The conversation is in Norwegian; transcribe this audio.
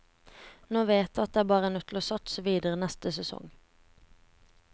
Nå vet jeg at jeg bare er nødt til å satse videre neste sesong.